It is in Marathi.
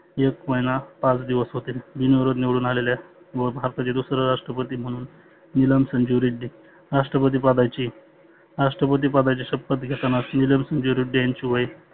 एक महिना पाच दिवस होते. बिन विरोध निवडुन आलेल्या व भारताच्या दुसर्या राष्ट्रपती म्हणुन निलम संजु रेड्डी राष्ट्रपती पदाची राष्ट्रपती पदाची शपत घेताना निलम संजु रेड्डी यांचे वय